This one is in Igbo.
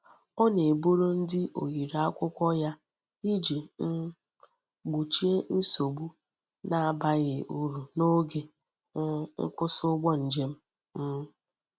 Ọ na-eburu ndị oyiri akwụkwọ ya iji um gbochie nsogbu na-abaghị uru n’oge um nkwụsị ụgbọ njem. um